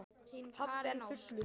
Pabbi enn fullur.